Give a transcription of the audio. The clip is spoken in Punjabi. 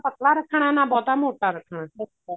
ਪਤਲਾ ਰੱਖਣਾ ਨਾ ਬਹੁਤਾ ਮੋਟਾ ਰੱਖਣਾ ਅੱਛਾ ਜੀ